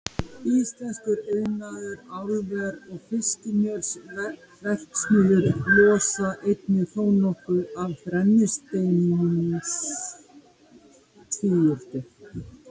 Íslenskur iðnaður, álver og fiskimjölsverksmiðjur losa einnig þónokkuð af brennisteinstvíildi.